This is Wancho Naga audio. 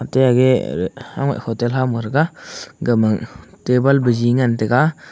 atey agey hamah hotel ham thraga agama table baje ngan taiga.